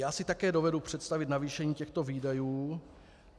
Já si také dovedu představit navýšení těchto výdajů.